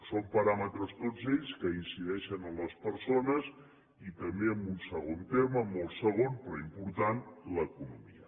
són paràmetres tots ells que incideixen en les persones i també en un segon terme molt segon però important l’economia